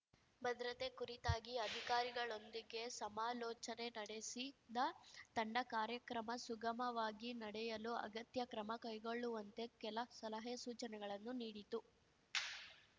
ಭದ್ರತೆ ಕುರಿತಾಗಿ ಅಧಿಕಾರಿಗಳೊಂದಿಗೆ ಸಮಾಲೋಚನೆ ನಡೆಸಿದ ತಂಡ ಕಾರ್ಯಕ್ರಮ ಸುಗಮವಾಗಿ ನಡೆಯಲು ಅಗತ್ಯ ಕ್ರಮ ಕೈಗೊಳ್ಳುವಂತೆ ಕೆಲ ಸಲಹೆಸೂಚನೆಗಳನ್ನೂ ನೀಡಿತು